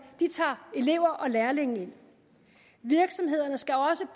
tager elever og lærlinge ind virksomhederne skal også